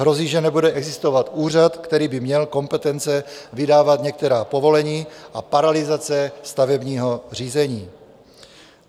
Hrozí, že nebude existovat úřad, který by měl kompetence vydávat některá povolení, a paralyzace stavebního řízení.